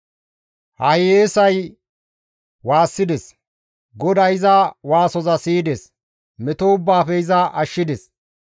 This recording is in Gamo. Ha hiyeesay waassides; GODAY iza waasoza siyides; meto ubbaafe iza ashshides.